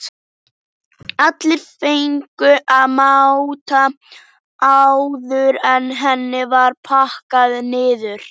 Allir fengu að máta áður en henni var pakkað niður.